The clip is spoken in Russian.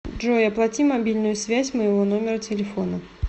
джой оплати мобильную связь моего номера телефона